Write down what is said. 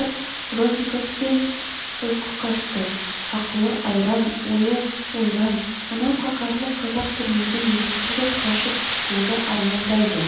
бронниковтен ұйқы қашты ақылы айран ойы ойран мынау қаһарлы қазақ түрмеден екінші рет қашып шығуды армандайды